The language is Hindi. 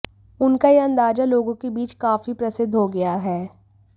उनका यह अंदाज लोगों के बीच काफी प्रसिद्ध हो गया है